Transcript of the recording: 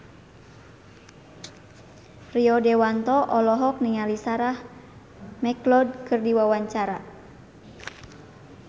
Rio Dewanto olohok ningali Sarah McLeod keur diwawancara